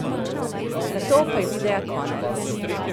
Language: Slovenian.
Nato pa je videa konec.